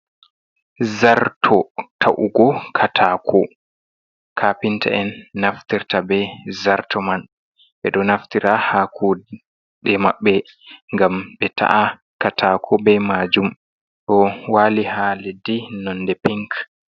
Zarto ta'ugo katako. Kafinta'en naftirta be zarto man. Ɓe ɗo naftira ha kuɗe mabbe gam be ta’a katako bei majum. Ɗo wali ha leddi nonde mai pink.